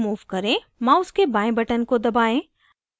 mouse के बाएं button को दबाएं